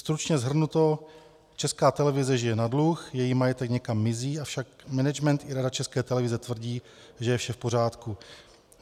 Stručně shrnuto, Česká televize žije na dluh, její majetek někam mizí, avšak management i Rada České televize tvrdí, že je vše v pořádku.